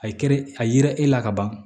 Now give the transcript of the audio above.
A ye kɛrɛ a yira e la ka ban